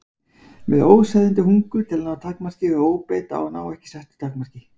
Með óseðjandi hungur til að ná árangri og óbeit á að ná ekki settu takmarki.